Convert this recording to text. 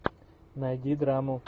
найди драму